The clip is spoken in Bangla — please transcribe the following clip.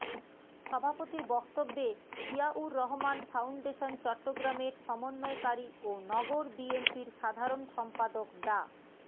সভাপতির বক্তব্যে জিয়াউর রহমান ফাউন্ডেশন চট্টগ্রামের সমন্বয়কারী ও নগর বিএনপির সাধারণ সম্পাদক ডা